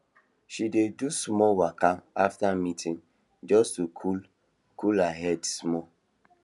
she dey do small waka after meeting just to cool cool her head small